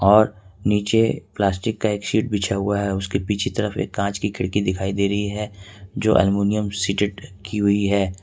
और नीचे प्लास्टिक का एक सीट बिछा हुआ है उसके पीछे तरफ एक कांच की खिड़की दिखाई दे रही है जो अल्मुनियम सीटेट की हुई है।